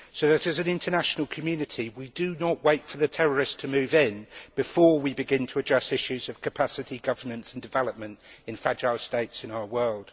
So that, as an international community, we do not wait for the terrorists to move in before we begin to address issues of capacity, governance and development in fragile states in our world.